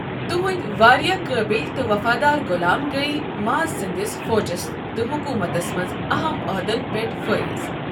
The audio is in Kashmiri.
تہنٛدۍ واریاہ قٲبل تہٕ وفادار غلام گٔیۍ معز سندِس فوجس تہٕ حکومتس منٛز اَہَم عٔہدَن پٮ۪ٹھ فٲئز۔